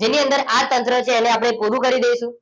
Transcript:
જેની અંદર આ તંત્ર છે એને આપણે પૂરું કરી દઈશું